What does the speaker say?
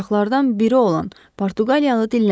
Ortaqlardan biri olan Portuqaliyalı dilləndi.